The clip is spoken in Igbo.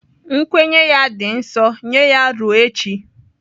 Nkwenye ya dị nsọ nye ya ruo echi.